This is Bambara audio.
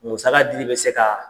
Musaka dili bɛ se ka